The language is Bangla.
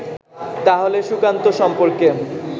তাহলে সুকান্ত সম্পর্কে